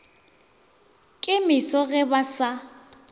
ke meso ge ba sa